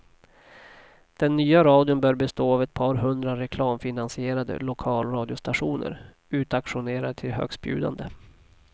Den nya radion bör bestå av ett par hundra reklamfinansierade lokalradiostationer, utauktionerade till högstbjudande.